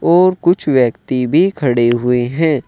और कुछ व्यक्ति भी खड़े हुए हैं।